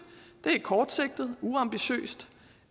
det er kortsigtet uambitiøst